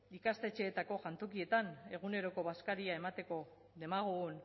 ikastetxeetako jantokietan eguneroko bazkaria emateko demagun